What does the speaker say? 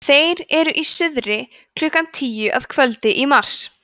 þeir eru í suðri klukkan tíu að kvöldi í mars